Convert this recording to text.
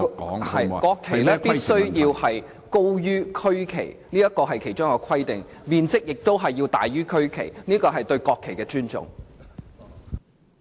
國旗必須高於區旗，面積亦須比區旗大，這是對國旗的尊重。